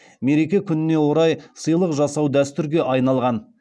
мереке күніне орай сыйлық жасау дәстүрге айналған